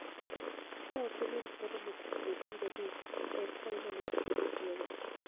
Ka ok iniinid moromo kuom odiechienige abich, ber ka inono seche mitiyogo".